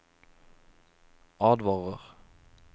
advarer